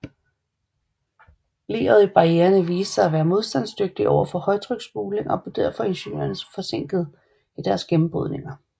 Leret i barriererne viste sig at være modstandsdygtigt overfor højtryksspuling og derfor blev ingeniørerne forsinket i deres gennembrydninger